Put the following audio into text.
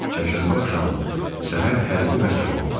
Çərşənbə axşamı səhər hərbi məhkəmə oldu.